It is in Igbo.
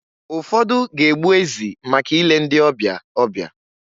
Ụfọdụ ga-egbu ezi maka ile ndị ọbịa ọbịa.